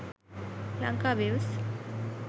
lankaviews